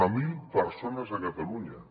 zero persones a catalunya